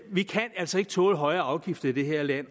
vi kan altså ikke tåle højere afgifter i det her land